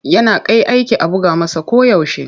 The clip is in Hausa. Yana kai aiki a buga masa koyaushe.